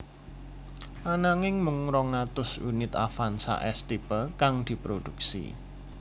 Ananging mung rong atus unit Avanza S Type kang diproduksi